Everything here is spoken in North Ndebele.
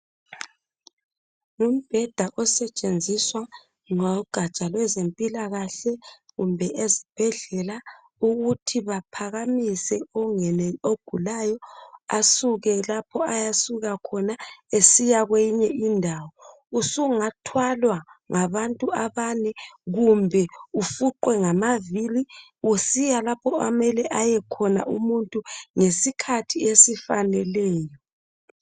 Umbheda osetshenziswa ligatsha lezempilakahle, kumbe ezibhedlela ukuthi baphakamisa ogulayo ongenelisiyo, asuke lapho Asuka khona esiya kwenye indawo. Usungathwalwa ngabantu abane kumbe ufuqwe ngamaviri usiya lapho okumele ayekhona umuntu, ngesikhathi esifaneleyo.